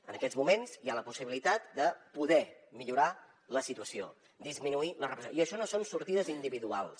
en aquests moments hi ha la possibilitat de poder millorar la situació disminuir la repressió i això no són sortides individuals